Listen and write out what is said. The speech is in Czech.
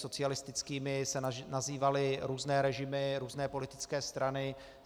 Socialistickými se nazývaly různé režimy, různé politické strany.